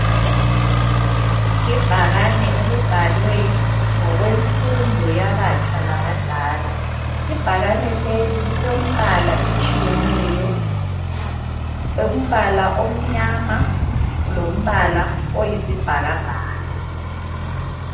Ibhakane elibhalwe ngokwemfundo yabatsha labadala. Ibhakane leli lilombala etshiyeneyo umbala omnyama lombala oyisibhakabhaka.